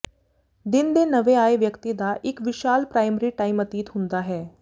ਦਿਨ ਦੇ ਨਵੇਂ ਆਏ ਵਿਅਕਤੀ ਦਾ ਇੱਕ ਵਿਸ਼ਾਲ ਪ੍ਰਾਇਮਰੀ ਟਾਈਮ ਅਤੀਤ ਹੁੰਦਾ ਹੈ